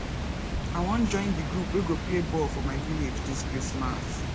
i wan join di group wey go play ball for my village dis christmas